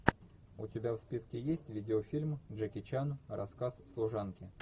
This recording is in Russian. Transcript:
у тебя в списке есть видеофильм джеки чан рассказ служанки